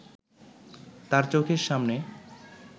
তাঁর চোখের সামনে